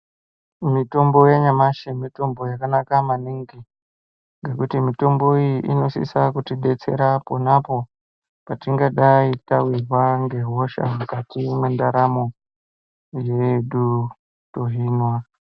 Mitombo yanyamashi mitombo yakanaka maningi nekuti mitombo iyi inosisa kutidetsera pona apapo patingadai tawirwa nehosha mukati mendaramo yedu tohinwa.